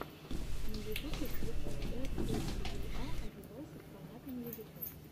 на ютубе включай ф точка юа о девайсах понятным языком